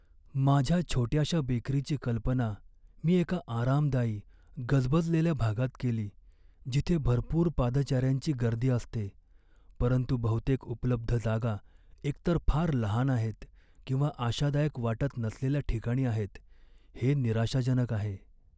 माझ्या छोट्याशा बेकरीची कल्पना मी एका आरामदायी, गजबजलेल्या भागात केली, जिथे भरपूर पादचाऱ्यांची गर्दी असते, परंतु बहुतेक उपलब्ध जागा एकतर फार लहान आहेत किंवा आशादायक वाटत नसलेल्या ठिकाणी आहेत हे निराशाजनक आहे.